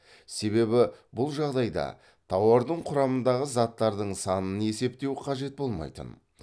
себебі бұл жағдайда тауардың құрамындағы заттардың санын есептеу қажет болмайтын